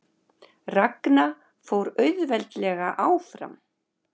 Ragna fór auðveldlega áfram